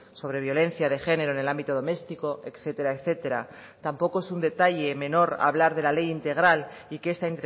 sobre violencia de género en el ámbito doméstico etcétera etcétera tampoco es un detalle menor hablar de la ley integral y que esta